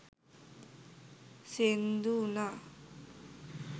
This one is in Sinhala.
සේන්දු වුණා.